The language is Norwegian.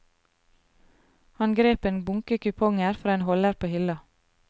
Han grep en bunke kuponger fra en holder på hylla.